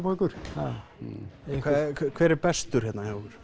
okkur hver er bestur hérna hjá ykkur